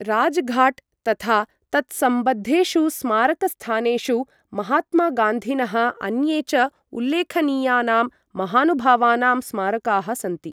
राजघाट् तथा तत्सम्बद्धेषु स्मारकस्थानेषु महात्मागान्धिनः, अन्ये च उल्लेखनीयानां महानुभावानां स्मारकाः सन्ति।